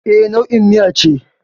E, nau'in miya ce.